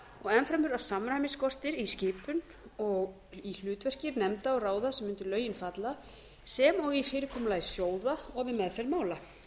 og enn fremur að samræmi skortir í skipun og í hlutverki nefnda og ráða sem undir lögin falla sem og í fyrirkomulagi sjóða og við meðferð mála einnig hefur